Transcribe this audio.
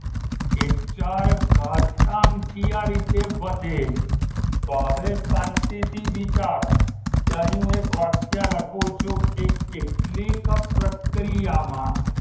એ ચાર ઘાતાંકીય રીતે વધે છે તો હવે શાંતિથી વિચારો કે અહીં હું એક વાક્ય લખું છું કે કેટલીક પ્રક્રિયામાં